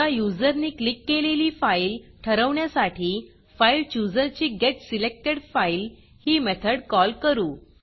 आता युजरनी क्लिक केलेली फाईल ठरवण्यासाठी फाइलचूजर ची getSelectedFile ही मेथड कॉल करू